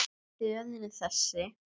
Röðin er þessi